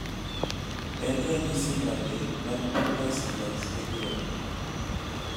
en ranyisi mage mag Peters plus syndrome?